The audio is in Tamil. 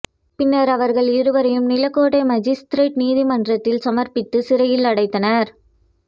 பின்னர் அவர்கள் இருவரையும் நிலக்கோட்டை மாஜிஸ்திரேட்டு நீதிமன்றத்தில் சமர்ப்பித்து சிறையில் அடைத்தனர்